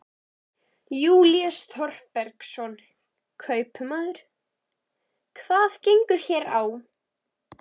Júlíus Þorbergsson, kaupmaður: Hvað gengur hér á?